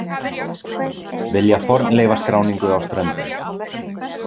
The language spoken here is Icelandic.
Vilja fornleifaskráningu á Ströndum